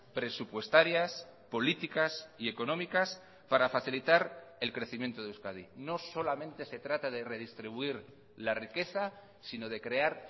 presupuestarias políticas y económicas para facilitar el crecimiento de euskadi no solamente se trata de redistribuir la riqueza sino de crear